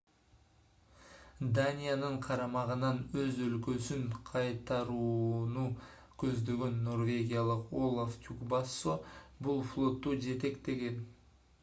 даниянын карамагынан өз өлкөсүн кайтарууну көздөгөн норвегиялык олаф трюгвассо бул флотту жетектеген